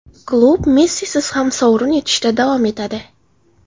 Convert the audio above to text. Klub Messisiz ham sovrin yutishda davom etadi.